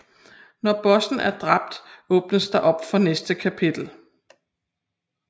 Når bossen er dræbt åbnes der op for næste kapitel